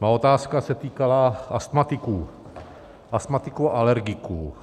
Má otázka se týkala astmatiků, astmatiků a alergiků.